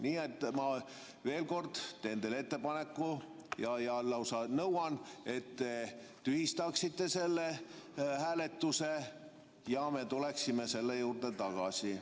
Nii et ma veel kord teen teile ettepaneku ja lausa nõuan, et te tühistaksite hääletuse ja me tuleksime selle juurde tagasi.